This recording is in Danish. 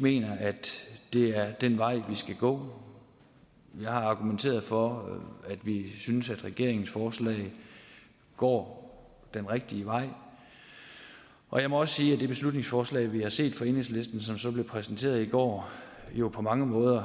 mener at det er den vej vi skal gå vi har argumenteret for at vi synes at regeringens forslag går den rigtige vej og jeg må også sige at det beslutningsforslag vi har set fra enhedslisten som så blev præsenteret i går jo på mange måder